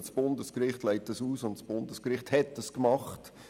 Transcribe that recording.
Das Bundesgericht hat diesen Punkt ausgelegt.